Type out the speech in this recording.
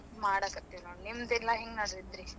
ಮಾಡಾಕತ್ತೀವ್ ನೋಡ್, ನಿಮ್ದೆಲ್ಲಾ ಹೆಂಗ ನಡ್ದೆತ್ರಿ?